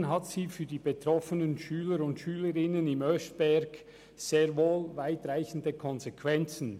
Hingegen hat sie für die betroffenen Schüler und Schülerinnen im Oeschberg sehr wohl weitreichende Konsequenzen: